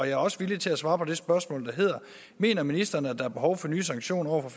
er også villig til at svare på det spørgsmål der hedder mener ministeren at der kan være behov for nye sanktioner over